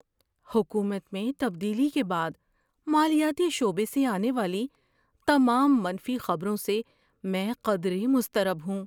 حکومت میں تبدیلی کے بعد مالیاتی شعبے سے آنے والی تمام منفی خبروں سے میں قدرے مضطرب ہوں۔